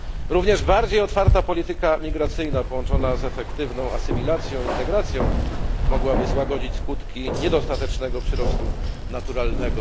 Również bardziej otwarta polityka migracyjna, połączona z efektywną asymilacją i integracją, mogłaby złagodzić skutki niedostatecznego przyrostu naturalnego.